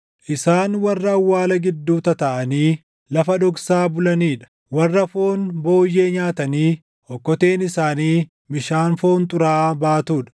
isaan warra awwaala gidduu tataaʼanii lafa dhoksaa bulanii dha; warra foon booyyee nyaatanii okkoteen isaanii bishaan foon xuraaʼaa baatuu dha;